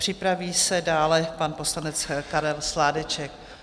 Připraví se dále pan poslanec Karel Sládeček.